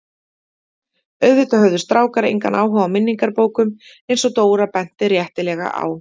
Auðvitað höfðu strákar engan áhuga á minningabókum eins og Dóra benti réttilega á.